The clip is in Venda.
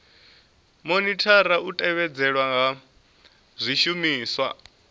monithara u tevhedzelwa ha zwishumiswa